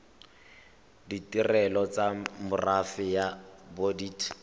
ditirelo tsa merafe ya bodit